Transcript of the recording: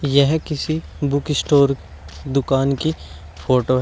यह किसी book store दुकान की फोटो है।